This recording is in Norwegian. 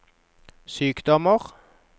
sykdommer